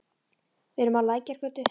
Við erum á Lækjargötu.